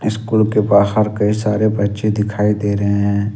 School के बाहर कई सारे बच्चे दिखाई दे रहे हैं।